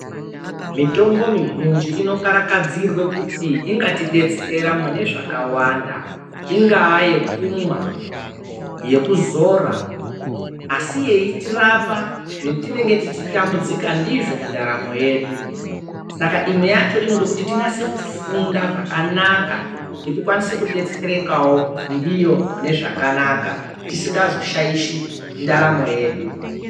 Mitombo mizhinji inokarakadzirwe kuti ingatidetsera munezvakawanda ingava yekunwa ,yekuzora ,asi iye iyitirapa zvatinenge tichitambudzika ndizvo muntaramo yedu ,saka imwe yacho inode kuti tinyasokufunda zvakanaka kuti tikwanise kudetserekawo ndiyo munezvakanaka, tisingazoshaishi ntaramo yedu.